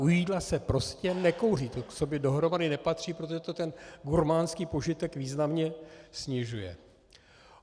U jídla se prostě nekouří, to k sobě dohromady nepatří, protože to ten gurmánský požitek významně snižuje.